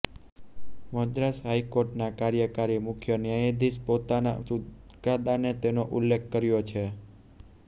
મદ્રાસ હાઈકોર્ટના કાર્યકારી મુખ્ય ન્યાયાધીશે પોતાના ચુકાદામાં તેનો ઉલ્લેખ કર્યો છે